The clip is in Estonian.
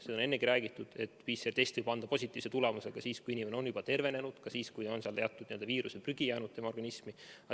Seda on ennegi räägitud, et PCR-test võib anda positiivse tulemuse ka siis, kui inimene on juba tervenenud, ka siis, kui teatud n-ö viiruse prügi on tema organismi jäänud.